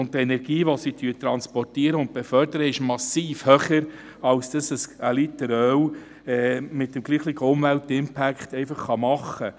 Die Energie, welche sie transportieren und befördern, ist massiv höher als was ein Liter Öl mit dem gleichen Einfluss auf die Umwelt machen kann.